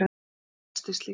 Ég hresstist líka.